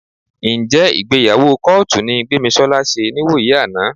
Ǹjẹ́ ìgbéyàwó kọ́ọ̀tù ni Gbémisọ́lá ṣe níwòyí àná?